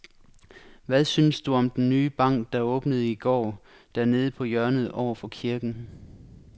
Hvad synes du om den nye bank, der åbnede i går dernede på hjørnet over for kirken?